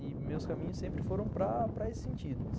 E meus caminhos sempre foram para esse sentido.